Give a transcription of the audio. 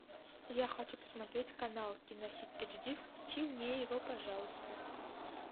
я хочу посмотреть канал кинохит эйч ди включи мне его пожалуйста